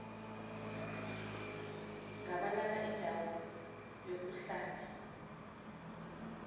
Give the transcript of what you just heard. gabalala indawo yokuhlala